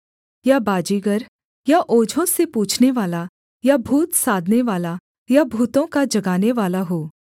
या बाजीगर या ओझों से पूछनेवाला या भूत साधनेवाला या भूतों का जगानेवाला हो